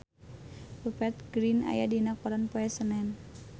Rupert Grin aya dina koran poe Senen